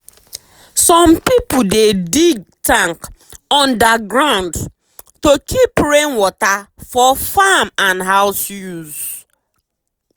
some people dey dig tank under ground to keep rain water for farm and house use.